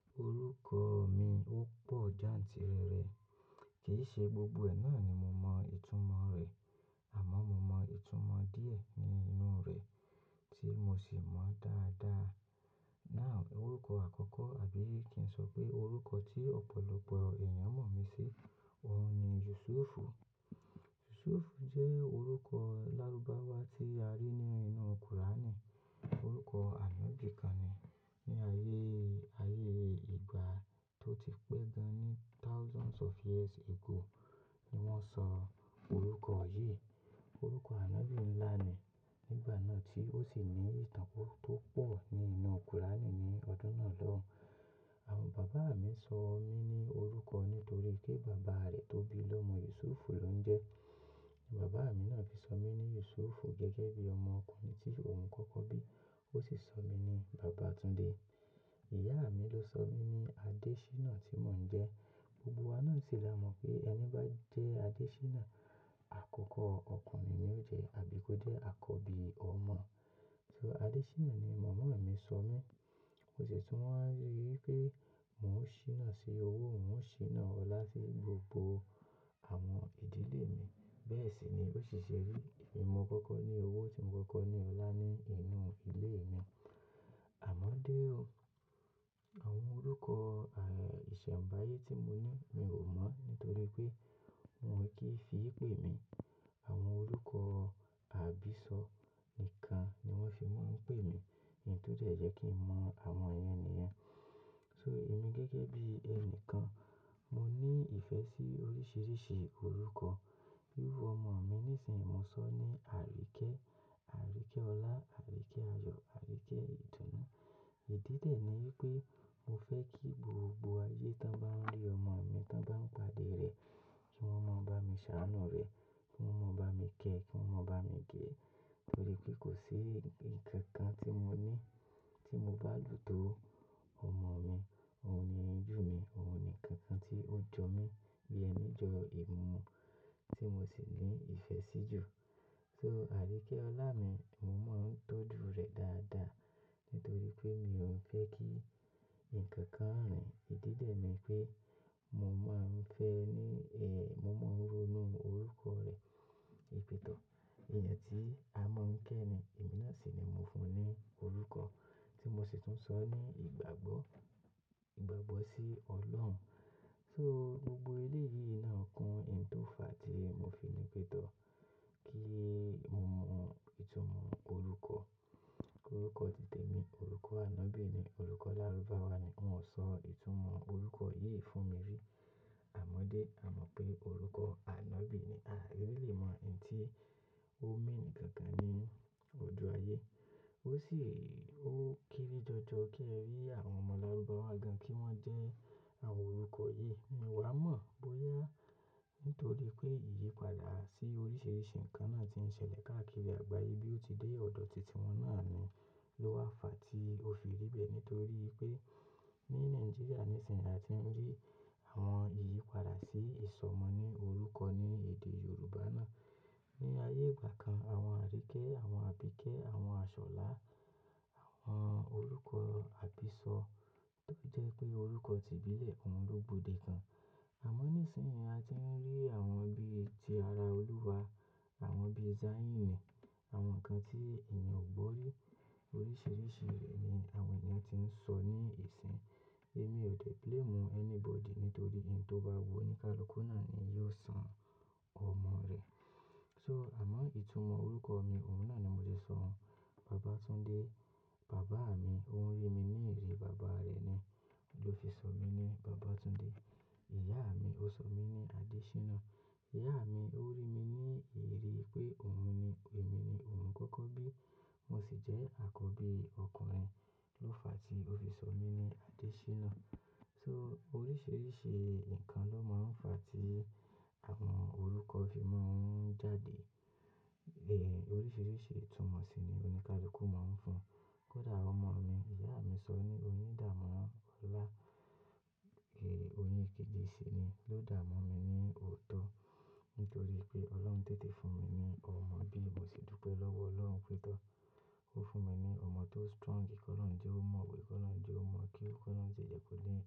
Orúkọ mi ó pọ̀ jáǹtìrẹrẹ. Kì í ṣe gbogbo ẹ̀ náà ni mo mọ ìtumọ̀ rẹ̀, àmọ́ mo mọ ìtumọ̀ díẹ̀ nínú rẹ̀ tí mo sì mọ dáadáa. Náà, orúkọ àkọ́kọ́ àbí kí n sọ pé orúkọ tí ọ̀pọ̀lọpọ̀ èèyàn mọ̀ mi sí, òun ni Yusuf. Yusuf jẹ́ orúkọ Lárúbáwá tí a rí nínú Kùránì. Orúkọ ànọ́bì kan ni. Ni ayé, ayé ìgbà tó ti pẹ́ gan ní thousands of years ago ni wọ́n sọ orúkọ yìí. Orúkọ ànọ́bì ńlá ni nígbà náà tí ó sì ní ìtàn tó pọ̀ nínú Kùránì ní ọdún náà lọ́hùn. Àwọn bàbá mi sọ mí ní orúkọ nítorí pé bàbá rẹ̀ tó bí lọ́mọ Yusuf ló ń jẹ. Bàbá mi náà fi sọ mí ní Yusuf gẹ́gẹ́ bí ọmọ ọkùnrin tí òun kọ́kọ́ bí. Ó sì sọ mí ní Bàbátúndé. Ìyá mi ló sọ mí ní Adéṣínà tí mò ń jẹ́. Gbogbo wa náà sì la mọ̀ pé ẹni bá jẹ́ Adéṣínà, àkọ́kọ́ ọkùnrin ni ó jẹ́ àbí kó jẹ́ àkọ́bí ọmọ. So Adéṣínà ni màmá mi sọ mí. Mo sì tún máà ń rí pé mòń ṣíná sí owó, mòń ṣíná ọlá sí gbogbo àwọn ìdílé mi. Bẹ́ẹ̀ sì ni ó sì ṣe rí èmi n mo koko ní owó tí mò kọ́kọ́ ní ọlá ní inú ilé mi. Àmọ́ dé o. Àwọn orúkọ, eh, ìṣẹ̀mbáyé tí mo ní mi ò mọ̀ nítorí pé wọ́n kì í fi í pè mí. Àwọn orúkọ àbísọ̀ nìkan ni wọ́n fi máa ń pè mí. Ìyẹn tó jẹ́ kí n mọ àwọn ìyẹn nìyẹn. So èmi gẹ́gẹ́ bí ẹni kan, mo ní ìfẹ́ sí oríṣiríṣi orúkọ. Bí iru ọmọ mi níṣìnyí, mo sọ ní Arike, Arike Ola, Arike Ayo, Arike Idunu. Ìdí de ni wipé mo fẹ́ kí gbogbo ayé tọ́n bá ń rí ọmọ mi, ton bá ń padà rẹ̀ kí wọ́n mọ̀ bá mi ṣàánú rẹ̀, kí wọ́n mọ̀ bá mi kẹ́, kí wọ́n mọ̀ bá mi gé. Torí pé kò sí ǹkan kan tí mo ní tí mo value tó ọmọ mi. Òun ni ejú mi, òun ni nkankan tí ó jọ mí bí ẹni jọ imumu tí mo sì ní ìfẹ́ sí jù. So Arike Ola mi, mo máa ń tọ́jú rẹ̀ dáadáa nítorí pé mi ò n fẹ́ kí ǹkan kan rìn. Ìdí de ni pé mo máa ń fẹ́ ní, eh, mo máa ń ronú orúkọ rẹ̀. Wipè tọ́, èèyàn tí a mọ̀ ń kẹ́ ni. Emí nà sì ni mo fún un ní orúkọ tí mo sì tún sọ ní ìgbàgbọ́, ìgbàgbọ́ sí Ọlọ́run. So gbogbo eleyii náà kún ǹ tó fà tí mo fi nipè tọ́ kí mo mọ ìtumọ̀ orúkọ. Orúkọ ti tèmi, orúkọ ànọ́bì ni, orúkọ Lárúbáwá ni. Wọn ò sọ ìtumọ̀ orúkọ yìí fún mi rí. Àmọ́dé a mọ̀ pé orúkọ ànọ́bì ni. A really mọ ǹ tí ó mean gangan ní ojú ayé. Ó sì, ó kere jọjọ kí ẹ rí àwọn ọmọ Lárúbáwá gan kí wọ́n jẹ́ àwọn orúkọ yìí. N wà mọ̀ bóyá nítorí pé ìyípadà sí oríṣiríṣi ǹkan náà tí ń ṣẹlẹ̀ káàkiri àgbáyé bí ó ti dé ọ̀dọ̀ tìti wọn náà ni ló wà fà tí ó fi rí bẹ́ẹ̀. Nítorí pé ní Nàìjíríà níṣìnyí a ti ń rí àwọn ìyípadà sí ìsọmọ ní orúkọ ní èdè Yorùbá náà. Ni ayé ìgbà kan àwọn Arike, àwọn Abike, àwọn Aṣọlá, àwọn orúkọ àbísọ̀ tó jẹ́ pé orúkọ ti ìbílẹ̀, òun ló gbòde kan. Àmọ́ níṣìnyí a ti ń rí àwọn bí ti ara Olúwa, àwọn bí Zayyin ni, àwọn ǹkan tí èèyàn ò gbọ́ rí oríṣiríṣi rẹ̀ ni àwọn èèyàn ti ń sọ ní ìsìn. Èmi ò de blame anybody nítorí n tó bá wu oníkálùkú náà ni yóò san ọmọ rẹ̀. So àmọ́ ìtumọ̀ orúkọ mi òun náà ni mo ti sọ òun. Bàbátúndé, bàbá mi òun rí mi ní ìrírí bàbá rẹ̀ ni ló fi sọ mí ní Bàbátúndé. Ìyá mi ó sọ mí ní Adéṣínà. Ìyá mi ó rí mi ní ìrírí pé òun ni, emi ni òun kọ́kọ́ bí. Mo sì jẹ́ àkọ́bí ọkùnrin ló fà tí ó fi sọ mí ní Adéṣínà. So oríṣiríṣi ǹkan ló máa ń fà tí àwọn orúkọ fi máa ń jáde. Eh, oríṣiríṣi ìtumọ̀ sì ni oníkálùkú máa ń fún. Kódà ọmọ mi, ìyá mi sọ ní oyindàmọ́lá. Eh, oyinkejì sì ni ló dààmo mi ní oòtọ́. Nítorí pé Ọlọ́run tètè fún mi ní ọmọ bí mo sì dúpẹ́ lọ́wọ́ Ọlọ́run pé tọ́. Ó fún mi ní ọmọ tó strong, kí olohun je o máa wẹ̀, kí olohun je o máa kewu, kí olohun si jẹ́ kó ní.